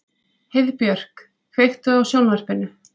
Heiðbjörk, kveiktu á sjónvarpinu.